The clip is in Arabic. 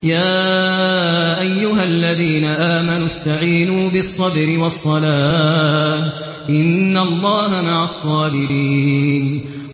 يَا أَيُّهَا الَّذِينَ آمَنُوا اسْتَعِينُوا بِالصَّبْرِ وَالصَّلَاةِ ۚ إِنَّ اللَّهَ مَعَ الصَّابِرِينَ